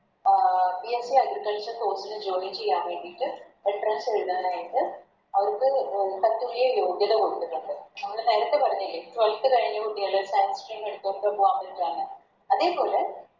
അഹ് BSCAgriculture course ല് Join ചെയ്യാൻ വേണ്ടിട്ട് Entrance എഴുതാനായിട്ട് അതിൻറെ തത്തുല്യ യോഗ്യത കൊടുത്തിട്ടുണ്ട് നമ്മള് നേരത്തെ പറഞ്ഞില്ലേ Twelth കഴിഞ്ഞ കുട്ടികള് Science stream എടുത്തവർക്ക് പോവാൻ വേണ്ടീട്ടാണ് അതേപോലെ